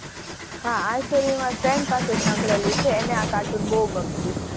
હાં આ storyFriend પાસે સાંભળેલી છે એને આ કાર્ટૂન બહુ ગમતું.